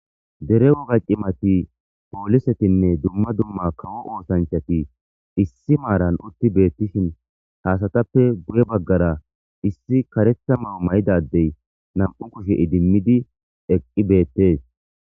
Dere woga qimati poolisetinne dumma dumma kawo oosanchati issi maaran utti beettishin haasatappe guye baggara issi karetha ma'o may'dadey nam'u kushe idimmidi eqqi beettees.